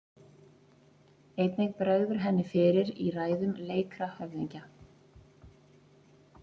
Einnig bregður henni fyrir í ræðum leikra höfðingja.